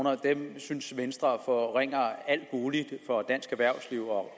synes venstre forringer alt muligt for dansk erhvervsliv og